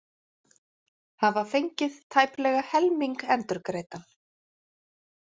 Hafa fengið tæplega helming endurgreiddan